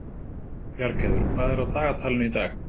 Bjargheiður, hvað er á dagatalinu í dag?